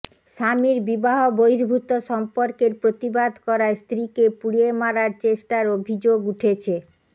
স্বামীর বিবাহ বহির্ভূত সম্পর্কের প্রতিবাদ করায় স্ত্রীকে পুড়িয়ে মারার চেষ্টার অভিযোগ উঠেছে